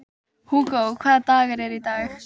Atena, hefur þú prófað nýja leikinn?